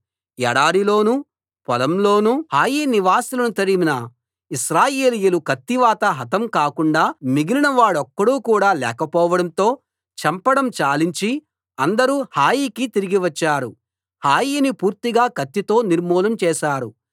ఎడారిలోను పొలంలోను హాయి నివాసులను తరిమిన ఇశ్రాయేలీయులు కత్తివాత హతం కాకుండా మిగిలిన వాడొక్కడు కూడా లేకపోవడంతో చంపడం చాలించి అందరూ హాయికి తిరిగి వచ్చారు హాయిని పూర్తిగా కత్తితో నిర్మూలం చేశారు